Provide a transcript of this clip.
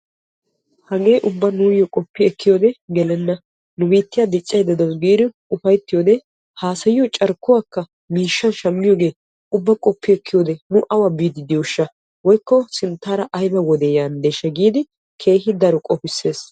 hagee ubba nuyyo qopi ekkiyoode gelenna, nu biittyia diccaydda dawus giidi upayttiyoode haassayiyo carkkuwakka miishshan shammiyooge ubba qopi ekkiyoo nu awa biidi diyooshsha woykko sinttaara aybba wode yanddeshsha giidi keehi daro qopissees.